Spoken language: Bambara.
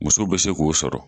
Muso be se k'o sɔrɔ.